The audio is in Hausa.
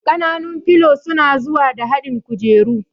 Ƙananun filo suna zuwa da haɗin kujeru